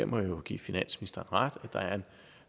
må jeg jo give finansministeren ret at der er en